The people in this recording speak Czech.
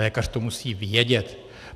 Lékař to musí vědět.